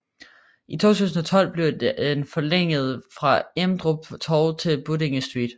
I 2012 blev den forlænget fra Emdrup Torv til Buddinge st